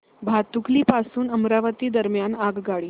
भातुकली पासून अमरावती दरम्यान आगगाडी